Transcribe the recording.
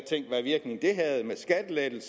lavet